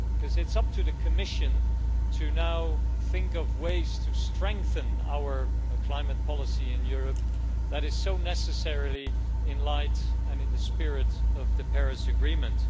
It is up to the Commission to now think of ways to strengthen our climate policy in Europe that is necessarily in the light and in the spirit of the Paris agreement.